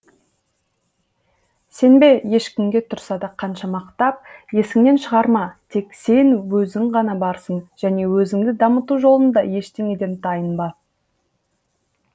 сенбе ешкімге тұрса да қанша мақтап есіңнен шығарма тек сен өзің ғана барсың және өзіңді дамыту жолында ештеңеден тайынба